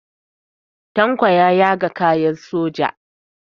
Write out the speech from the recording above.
Tanko ya yaga kayan soja.